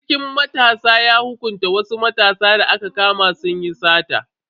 Sarkin matasan ya hukunta wasu matasa da aka kama sun yi sata.